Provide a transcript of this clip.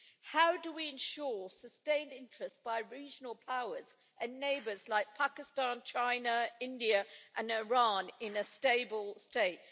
How do we ensure sustained interest by regional powers and neighbours like Pakistan, China, India and Iran in a stable state?